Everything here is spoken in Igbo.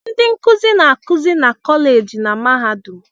Ndị nkuzi na-akụzi na kọleji na mahadum.